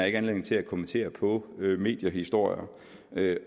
ikke anledning til at kommentere på mediehistorier